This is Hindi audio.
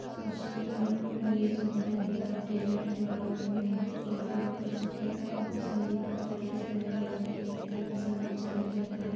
मछलियाँ ये सब हैऔर डिजाइन किया गया मोर जो काफी आकर्षक है। यहाँ पे (पर) संगीत की प्रैक्टिस कराई जाती है अलग तरह का संगीत सिखाया जाता है।